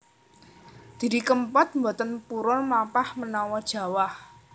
Didi Kempot mboten purun mlampah menawa jawah